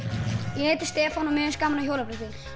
ég heiti Stefán og mér finnst gaman á hjólabretti